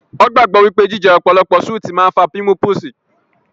Wọ́n gbàgbọ́ pé jíjẹ ọ̀pọ̀lọpọ̀ súùtì máa ń fà pímúpúsi